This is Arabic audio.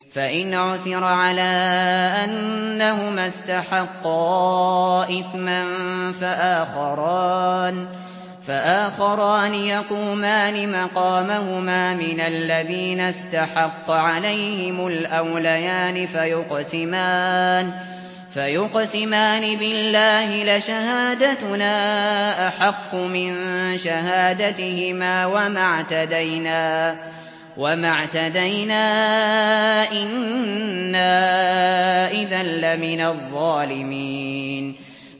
فَإِنْ عُثِرَ عَلَىٰ أَنَّهُمَا اسْتَحَقَّا إِثْمًا فَآخَرَانِ يَقُومَانِ مَقَامَهُمَا مِنَ الَّذِينَ اسْتَحَقَّ عَلَيْهِمُ الْأَوْلَيَانِ فَيُقْسِمَانِ بِاللَّهِ لَشَهَادَتُنَا أَحَقُّ مِن شَهَادَتِهِمَا وَمَا اعْتَدَيْنَا إِنَّا إِذًا لَّمِنَ الظَّالِمِينَ